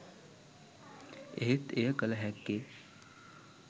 එහෙත් එය කල හැක්කේ